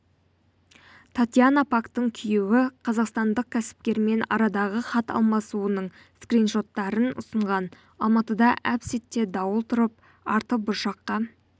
татьяна пактың күйеуі қазақстандық кәсіпкермен арадағы хат алмасуының скриншоттарын ұсынған алматыда әп-сәтте дауыл тұрып арты бұршаққа